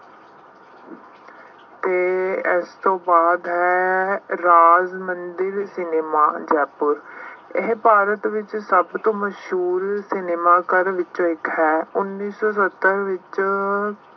ਅਤੇ ਇਸ ਤੋਂ ਬਾਅਦ ਹੈ ਰਾਜ ਮੰਦਿਰ ਸਿਨੇਮਾ ਜੈਪੁਰ, ਇਹ ਭਾਰਤ ਵਿੱਚ ਸਭ ਤੋਂ ਮਸ਼ਹੂਰ ਸਿਨੇਮਾ ਘਰ ਵਿੱਚੋਂ ਇੱਕ ਹੈ। ਉੱਨੀ ਸੌ ਸੱਤਰ ਵਿੱਚ